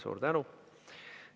Suur tänu!